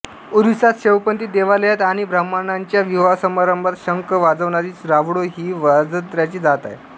ओरिसात शैवपंथी देवालयांत आणि ब्राह्मणांच्या विवाहसमारंभात शंख वाजविणारी रावुळो ही वाजंत्र्याची जात आहे